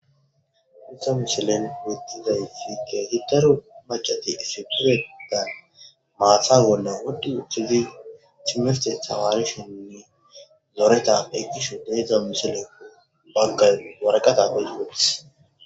Ta misilen betidayisi keehi daro macati essipetethan maatha bollan wudhi uttidi timirte tamarishenne zoreta ekkishe de7idzdza misileko baggay waraqata oyiqutittis